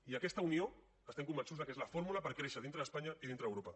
i aquesta unió estem convençuts que és la fórmula per créixer dintre d’espanya i dintre d’europa